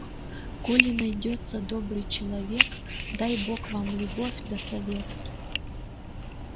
коли найдётся добрый человек дай бог вам любовь да совет